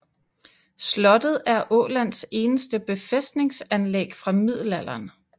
Slottet er Ålands eneste befæstningsanlæg fra middelalderen